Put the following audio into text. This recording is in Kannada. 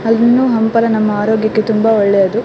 ಹಣ್ಣು ಹಂಪಲು ನಮ್ಮ ಆರೋಗ್ಯಕ್ಕೆ ತುಂಬಾ ಒಳ್ಳೆಯದು.